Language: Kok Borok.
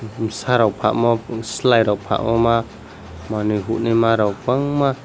tumsa rok palmow selai rok palmow ma manui honui ma rok bangma.